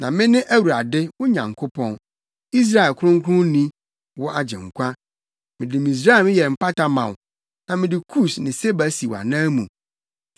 Na mene Awurade, wo Nyankopɔn, Israel Kronkronni, wo Agyenkwa. Mede Misraim yɛ mpata ma wo na mede Kus ne Seba si wʼanan mu.